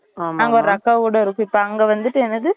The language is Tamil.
அங்க ஒரு அக்கா ஓட rosy அங்க வந்துட்டு என்னது